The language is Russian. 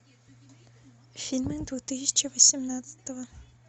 фильмы две тысячи восемнадцатого